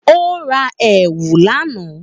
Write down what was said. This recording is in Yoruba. Ó ra èwù lá àná.